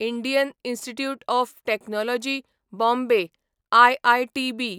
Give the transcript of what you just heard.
Indian Institute of Technology Bombay IITB